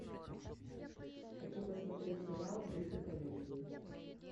хочу посмотреть сериал в духе комедии